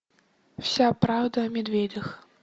вся правда о медведях